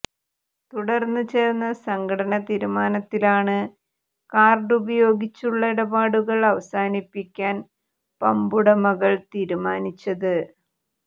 തുടർന്ന് ചേർന്ന സംഘടന തീരുമാനത്തിലാണ് കാർഡ് ഉപയോഗിച്ചുള്ള ഇടപാടുകൾ അവസാനിപ്പിക്കാൻ പാമ്പുടമകൾ തീരുമാനിച്ചത്